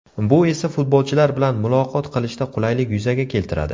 Bu esa futbolchilar bilan muloqot qilishda qulaylik yuzaga keltiradi.